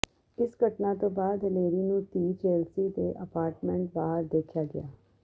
ਇਸ ਘਟਨਾ ਤੋਂ ਬਾਅਦ ਹਿਲੇਰੀ ਨੂੰ ਧੀ ਚੇਲਸੀ ਦੇ ਅਪਾਰਟਮੈਂਟ ਬਾਹਰ ਦੇਖਿਆ ਗਿਆ